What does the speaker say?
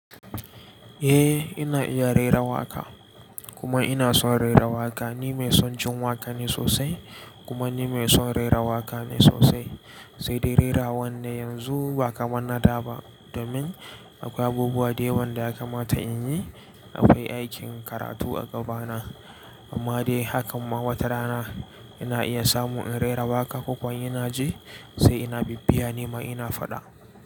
Eh ina iya raira waƙa kuma ina son raira waƙa. Ni mai son jin waƙa ne sosai kuma ni mai son rera waƙa ne sosai. Sai dai rerawan ne yanzu ba kamar na da ba domin akwai abubuwa da yawa da ya kamata in yi. Akwai aikin karatu a gabana. Amma dai hakan ma watarana ina iya samu in rera waƙa ko kuwa ina ji sai ina bibbiya nima ina faɗa.